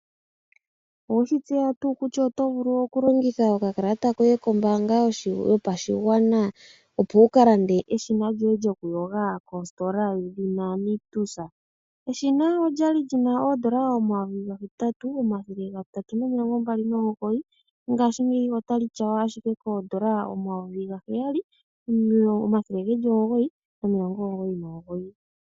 Oweshi tseya tuu kutya oto vulu okulongitha oka kalata koye kombaanga yopashigwana opo wukalande eshina lyo ye lyoku yoga kositola yedhina Nictus. Eshina olya li lina o$8329.00, ngashingeyi ota li tya ywa ashike koo$7999.00.